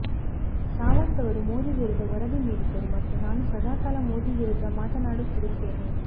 ಸಾವಂತ್ ಅವರು ಮೋದಿ ವಿರುದ್ದ ವರದಿ ನೀಡಿದ್ದರು ಮತ್ತು ನಾನು ಸದಾಕಾಲ ಮೋದಿ ವಿರುದ್ಧ ಮಾತನಾಡುತ್ತಿರುತ್ತೇನೆ